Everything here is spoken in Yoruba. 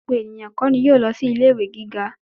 Gbogbo ènìyàn kó ni yóò lọ sí ilé ìwé gíga.